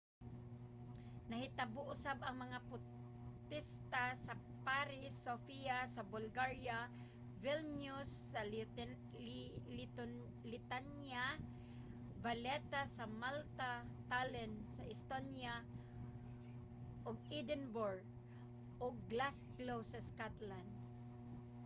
nahitabo usab ang mga potesta sa paris sofia sa bulgaria vilnius sa lithuania valetta sa malta tallinn sa estonia ug edinburgh ug glasgow sa scotland